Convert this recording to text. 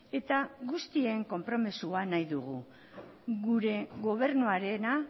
eta guztien konpromezua nahi dugu gure gobernuarena